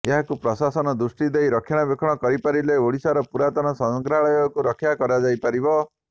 ଏହାକୁ ପ୍ରଶାସନ ଦୃଷ୍ଟି ଦେଇ ରକ୍ଷଣାବେକ୍ଷଣ କରିପାରିଲେ ଓଡିଶାର ପୁରାତନ ସଂଗ୍ରହାଳୟକୁ ରକ୍ଷା କରାଯାଇପାରିବ